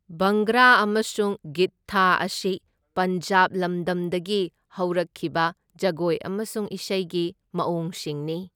ꯚꯪꯒ꯭ꯔꯥ ꯑꯃꯁꯨꯡ ꯒꯤꯗꯙꯥ ꯑꯁꯤ ꯄꯟꯖꯥꯕ ꯂꯝꯗꯝꯗꯒꯤ ꯍꯧꯔꯛꯈꯤꯕ ꯖꯒꯣꯏ ꯑꯃꯁꯨꯡ ꯏꯁꯩꯒꯤ ꯃꯑꯣꯡꯁꯤꯡꯅꯤ꯫